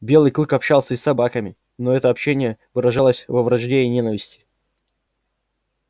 белый клык общался и с собаками но это общение выражалось во вражде и ненависти